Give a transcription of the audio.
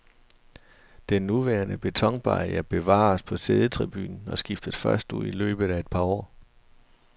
Den nuværende betonbarriere bevares på siddetribunen og skiftes først ud i løbet af et par år.